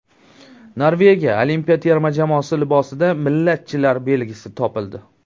Norvegiya olimpiya terma jamoasi libosida millatchilar belgisi topildi.